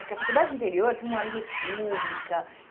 Porque a faculdade no interior tem república.